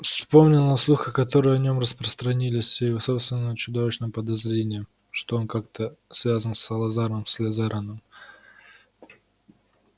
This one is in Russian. вспомнил о слухах которые о нём распространились и о собственном чудовищном подозрении что он как-то связан с салазаром слизараном